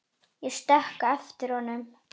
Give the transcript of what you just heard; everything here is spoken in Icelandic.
Ég stökk á eftir honum.